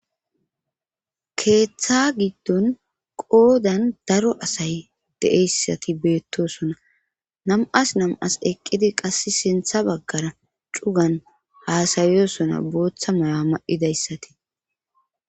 Keeththa giddon qoodan daro asay deeyssati beettosona nam'as nam'as eqqidi qass sintha baggara cugan haasayosona booththa may'a ma'idayssatii.